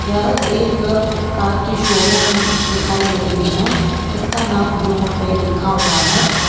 यह एक कार की शोरूम दिखाई दे रही है इसका नाम ब्लू हुंडई लिखा हुआ है।